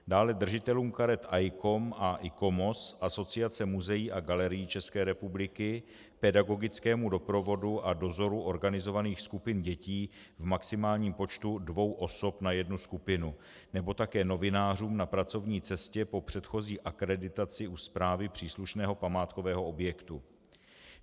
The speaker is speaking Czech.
Dále držitelům karet ICOM a ICOMOS, Asociace muzeí a galerií České republiky, pedagogickému doprovodu a dozoru organizovaných skupin dětí v maximálním počtu dvou osob na jednu skupinu nebo také novinářům na pracovní cestě po předchozí akreditaci u správy příslušného památkového objektu.